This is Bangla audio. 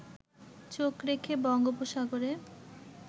চোখ রেখে বঙ্গোপসাগরে